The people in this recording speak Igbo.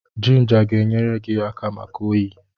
Jinja ga-enyere gi aka maka oyi.